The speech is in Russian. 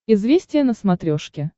известия на смотрешке